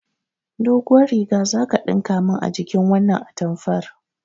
Doguwar riga zaka ɗinka min a jikin wannan atamfar